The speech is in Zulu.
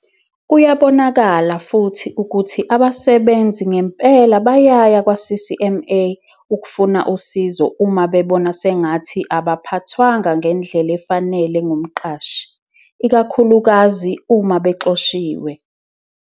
Kuyabonakala futhi ukuthi abasebenzi ngempela bayaya kwa-CCMA ukufuna usizo uma bebona sengathi abaphathwanga ngendlela efanele ngumqashi, ikakhulukazi uma bexoshiwe.